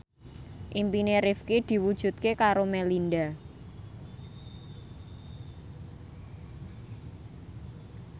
impine Rifqi diwujudke karo Melinda